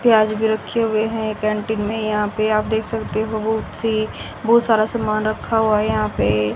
प्याज भी रखे हुए हैं एक कैंटीन में यहां पे आप देख सकते हो बहोत सी बहोत सारा सामान रखा हुआ यहां पे।